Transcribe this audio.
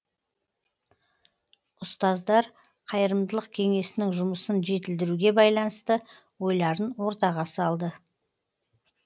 ұстаздар қайырымдылық кеңесінің жұмысын жетілдіруге байланысты ойларын ортаға салды